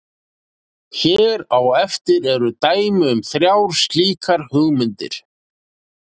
Hér á eftir eru dæmi um þrjár slíkar hugmyndir.